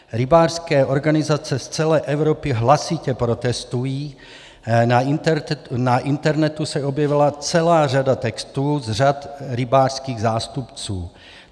Rybářské organizace z celé Evropy hlasitě protestují, na internetu se objevila celá řada textů z řad rybářských zástupců.